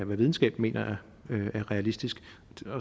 hvad videnskaben mener er realistisk